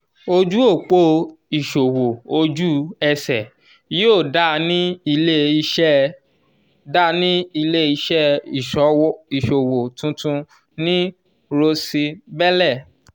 oju opo iṣowo oju-ese yoo da ni ile-iṣẹ da ni ile-iṣẹ iṣowo tuntun ni rose belle.